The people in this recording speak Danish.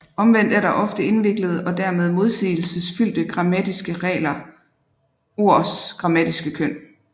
Omvendt er der ofte indviklede og tilmed modsigelsesfyldte regler for ords grammatiske køn